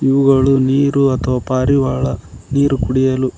ಇವುಗಳು ನೀರು ಅಥವಾ ಪಾರಿವಾಳ ನೀರು ಕುಡಿಯಲು --